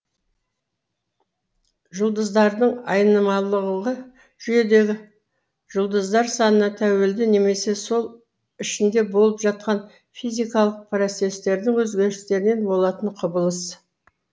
жұлдыздардың айнымалылығы жүйедегі жұлдыздар санына тәуелді немесе сол ішінде болып жатқан физикалық процесстердің өзгерісінен болатын құбылыс